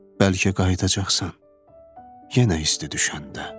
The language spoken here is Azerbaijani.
Bəlkə qayıdacaqsan, yenə isti düşəndə.